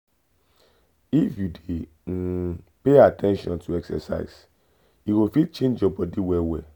if you dey um pay at ten tion to exercise e go fit change your body well well.